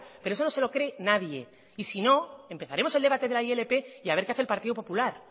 pero eso no se lo cree nadie y si no empezaremos el debate de la ilp y a ver qué hace el partido popular